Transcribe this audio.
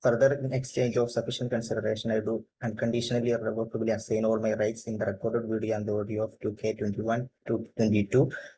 Further exchange of sufficient consideration I do unconditionally and irrevocably assigning my rights in the record video and audio of 2കെ21 to 22.